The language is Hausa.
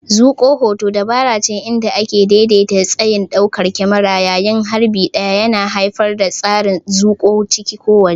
Zuƙo hoto dabarace inda ake daidaita tsayin daukar kyamarar yayin harbi ɗaya, yana haifar da tasirin zuƙowa ciki ko waje.